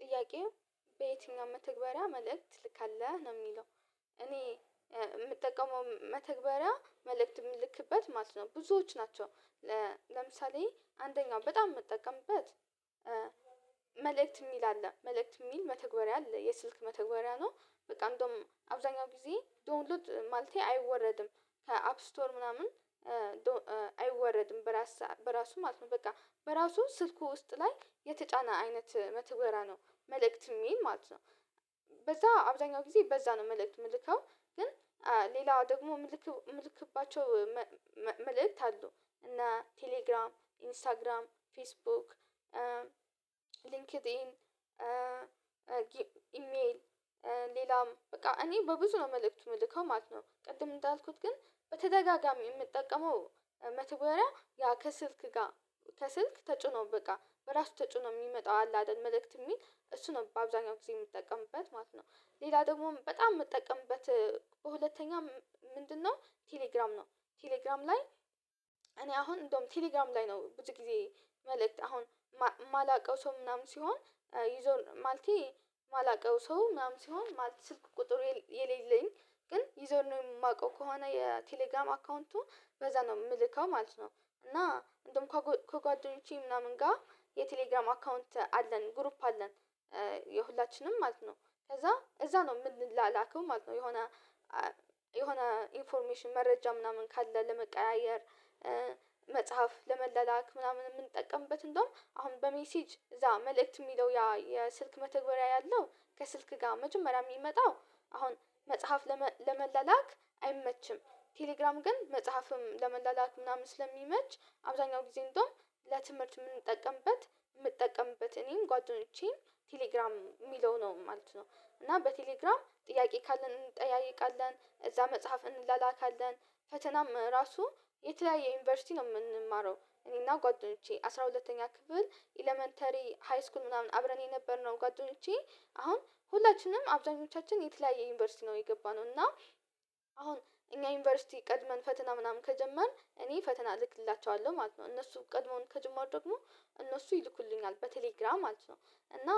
ጥያቄው? በየትኛው መተግበርያ መልእክት ትልካለህ ነው የሚለው እኔ የምጠቀመው መተግበሪያ መልእክት የምልክበት ማለት ነው። ብዙዎች ናቸው። ለምሳሌ አንደኛው በጣም የምትጠቀምበት መልእክት የሚል አለ መልእክት የሚል መተግበሪያ አለ የስልክ መተግበሪያ ነው። በቃ እንደውም አብዛኛው ጊዜ ዶውንሉድ ማለቴ አይወረድም ከአፕ ስቶር ምናምን አይወረድም በራስ በራሱ ማለት ነው። በቃ በራሱ ስልኩ ውስጥ ላይ የተጫነ አይነት መተግበርያ ነው። መልእክት የሚል ማለት ነው። በዛ አብዛኛው ጊዜ በዛ ነው መልእክት የምልከው። ግን ሌላው ደግሞ ምልክባቸው መልእክት አሉ እና ቴሌግራም ኢንስታግራም ፌስቡክ ሊንክዲን ኢሜል ሌላም በቃ እኔ በብዙ ነው መልእክቱ የምልከው ማለት ነው። ቅድም እንዳልኩት ግን በተደጋጋሚ የምጠቀመው መተግበረያ ያ ከስልክ ጋር ከስልክ ተጭኖ በቃ በራሱ ተጭኖ የሚመጣው አለ አይደል መልእክት የሚል እሱ ነው በአብዛኛው ጊዜ የምጠቀምበት ማለት ነው። ሌላ ደግሞም በጣም የምጠቀምበት በሁለተኛም ምንድነው? ቴሌግራም ነው። ቴሌግራም ላይ እኔ አሁን እንደውም ቴሌግራም ላይ ነው ብዙ ጊዜ መልእክት አሁን የማላውቀው ሰው ምናምን ሲሆን ይዞል ማለቴ የማላውቀው ሰው ምናምን ሲሆን ማለቴ ስልክ ቁጥር የሌለኝ ግን ይዘረኔሙ የማውቀው ከሆነ የቴሌግራም አካውንቱን በዛ ነው የምልከው ማለት ነው። እና እንደውም ከጓደኞቼ ምናምን ጋር የቴሌግራም አካውንት አለን ግሩፕ አለን። የሁላችንም ማለት ነው ከዛ እዛ ነው የምንላላከው ማለት ነው። የሆነ የሆነ ኢንፎርሜሽን መረጃ ምናምን ካለ ለመቀያየር። ለመላላክ ምናምን የምንጠቀምበት እንደውም አሁን በሜሴጅ እዛ መልእክት የሚለው ያ የስልክ መተግበሪያ ያለው ከስልክ ጋር መጀመሪያ የሚመጣው። አሁን መጽሐፍ ለመላላክ አይመችም። ቴሌግራም ግን መጽሐፍም ለመላላክ ምናምን ስለሚመች አብዛኛው ጊዜ እንደውም ለትምህርት የምንጠቀምበት የምጠቀምበት እኔም ጓደኞቼን ቴሌግራም የሚለው ነው ማለት ነው። እና በቴሌግራም ጥያቄ ካለን እንጠያየቃለን እዛ መጽሐፍን እንላካካለን። ፈተናም ራሱ የተለያየ ዩኒቨርሲቲ ነው የምንማረው እኔና ጓደኞቼ አስራ ሁለተኛ ክፍል ኤለመንተሪ ሃይስኩል ምናምን አብረን የነበርነው ጓደኞቼ አሁን ሁላችንም አብዛኞቻችን የተለያየ ዩኒቨርሲቲ ነው የገባነው። እና አሁን እኛ ዩኒቨርሲቲ ቀድመን ፈተና ምናምን ከጀመርን እኔ ፈተና እልክላቸዋለሁ ማለት ነው። እነሱ ቀድሞውን ከጀመሩ ደግሞ እነሱ ይልኩልኛል በቴሌግራም ማለት ነው። እና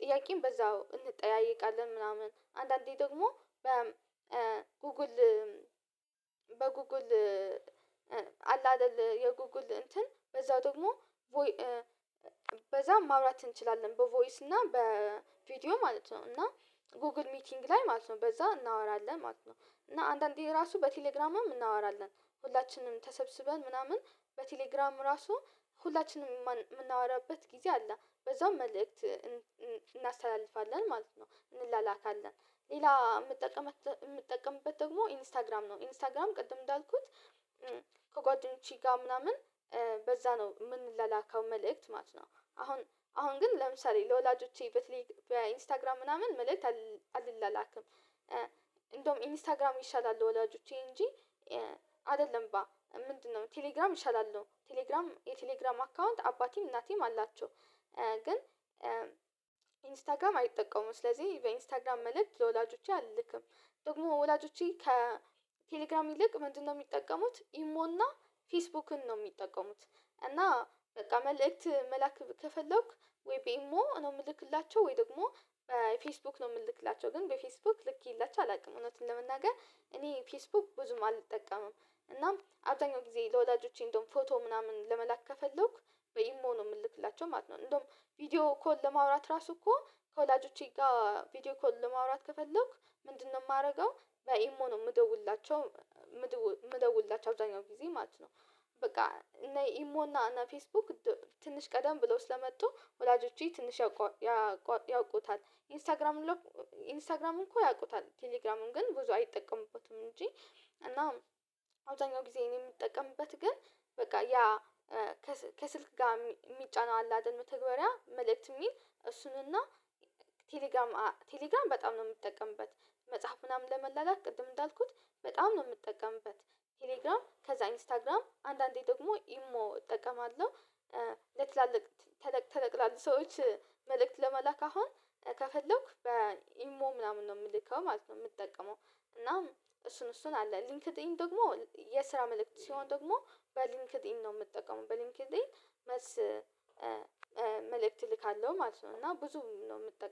ጥያቄም በዛው እንጠያየቃለን ምናምን አንዳንዴ ደግሞ በ ጉግል በጉጉል አላ አደል የጉጉል እንትን በዛው ደግሞ በዛም ማውራት እንችላለን በቮይስ እና በቪዲዮ ማለት ነው። እና ጎግል ሚቲንግ ላይ ማለት ነው በዛ እናወራለን ማለት ነው። እና አንዳንዴ ራሱ በቴሌግራም እናወራለን ሁላችንም ተሰብስበን ምናምን በቴሌግራም ራሱ ሁላችንም የምናወራበት ጊዜ አለ በዛው መልእክት እናስተላልፋለን ማለት ነው። እንላላካለን ሌላ የምጠቀምበት የምጠቀምበት ደግሞ ኢንስታግራም ነው ኢንስታግራም ቅድም እንዳልኩት ከጓደኞቼ ጋር ምናምን በዛ ነው የምንላላከው መልእክት ማለት ነው። አሁን አሁን ግን ለምሳሌ ለወላጆቼ በተለይ በኢንስታግራም ምናምን መልእክት አልላላክም። እንደውም ኢንስታግራም ይሻላል ወላጆቼ እንጂ አይደለም ምንድነው? ቴሌግራም እንሻላለን ቴሌግራም የቴሌግራም አካውንት አባቴም እናቴም አላቸው። ግን ኢንስታግራም አይጠቀሙም ስለዚህ በኢንስታግራም መልእክት ለወላጆቼ አልልክም። ደግሞ ወላጆቼ ከ ከቴሌግራም ይልቅ ምንድነው? የሚጠቀሙት ኢሞና ፌስቡክን ነው የሚጠቀሙት። እና በቃ መልእክት መላክ ከፈለግኩ ወይ በኢሞ ነው የምልክላቸው ወይ ደግሞ በፌስቡክ ነው የምልክላቸው ግን በፌስቡክ ልኬላቸው አላውቅም እውነቱን ለመናገር። እኔ ፌስቡክ ብዙም አልጠቀምም እናም አብዛኛው ጊዜ ለወላጆቼ እንደውም ፎቶ ምናምን ለመላክ ከፈለኩ በኢም ነው የምልክላቸው ማለት ነው። እንደውም ቪዲዮ ኮል ለማውራት ራሱ እኮ ከወላጆቼ ጋር ቪዲዮ ኮል ለማውራት ከፈለኩ ምንድነው? የማደርገው በኢሞ ነው የምደውልላቸው የምደውልላቸው አብዛኛው ጊዜ ማለት ነው። በቃ እና ኢሞና እና ፌስቡክ ትንሽ ቀደም ብለው ስለመጡ ወላጆቼ ትንሽ ያውቁታል ኢንስታግራም ኢንስታግራም እኮ ያውቁታል ቴሌግራሙን ግን ብዙ አይጠቀሙበትም እንጂ። እና አብዛኛው ጊዜ እኔ የምጠቀምበት ግን በቃ ያ ከስልክ ጋር የሚጫነው አለ አይደል መተግበሪያ መልእክት የሚል እሱንና ቴሌግራም ቴሌግራም በጣም ነው የምጠቀምበት። መጽሐፍ ምናምን ለመላላክ ቅድም እንዳልኩት በጣም ነው የምጠቀምበት ቴሌግራም ከዛ ኢንስታግራም አንዳንዴ ደግሞ ኢሞ እጠቀማለሁ። ለትላልቅ ተለቅ ተለቅ ላሉ ሰዎች መልእክት ለመላክ አሁን ከፈለኩ በኢሞ ምናምን ነው የምልከው ማለት ነው። የምጠቀመው እና እሱን እሱን አለ ሊንክድኢን ደግሞ የስራ መልእክት ሲሆን ደግሞ በሊንክድኢን ነው የምጠቀመው በሊንክሌን። መልእክት እልካለሁ ማለት ነው። እና ብዙ ነው የምጠቀመው